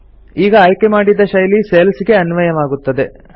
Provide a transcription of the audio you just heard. ಈಗ ಆಯ್ಕೆಮಾಡಿದ ಶೈಲಿ ಸೆಲ್ಸ್ ಗೆ ಅನ್ವಯವಾಗುತ್ತದೆ